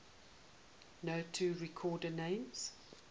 nato reporting names